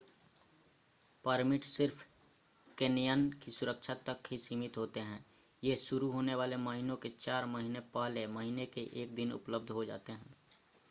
permit सिर्फ canyon की सुरक्षा तक ही सीमित होते हैं ये शुरू होने वाले महीने से चार महीने पहले महीने के 1 दिन उपलब्ध हो जाते हैं